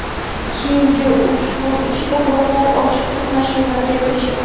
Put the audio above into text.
Keyingi uch kun ichida guruhlar ochiq to‘qnashuvlarga kirishdi.